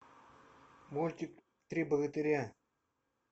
мультик три богатыря